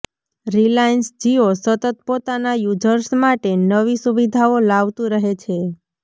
Reliance Jio સતત પોતાના users માટે નવી સુવિધાઓ લાવતું રહે છે